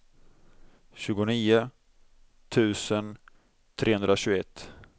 tjugonio tusen trehundratjugoett